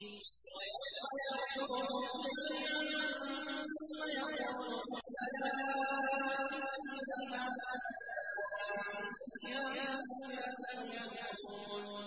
وَيَوْمَ يَحْشُرُهُمْ جَمِيعًا ثُمَّ يَقُولُ لِلْمَلَائِكَةِ أَهَٰؤُلَاءِ إِيَّاكُمْ كَانُوا يَعْبُدُونَ